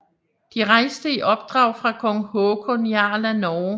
De rejste i opdrag fra kong Håkon Jarl af Norge